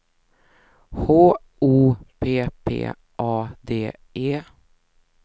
H O P P A D E